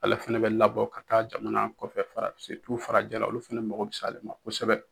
Ale fɛnɛ bɛ labɔ ka taa jamana kɔfɛ fara farajɛ la, olu fɛnɛ mako bɛ se ale ma kosɛbɛ.